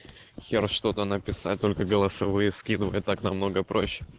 я что-то написать только голосовые скидывай так намного проще